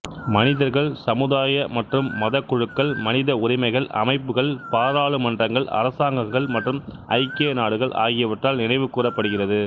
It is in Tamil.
மனிதர்கள் சமுதாய மற்றும் மத குழுக்கள் மனித உரிமைகள் அமைப்புக்கள் பாராளுமன்றங்கள் அரசாங்கங்கள் மற்றும் ஐக்கிய நாடுகள் ஆகியவற்றால் நினைவுகூரப்படுகிறது